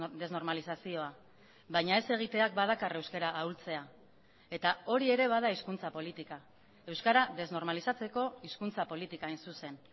desnormalizazioa baina ez egiteak badakar euskara ahultzea eta hori ere bada hizkuntza politika euskara desnormalizatzeko hizkuntza politika hain zuzen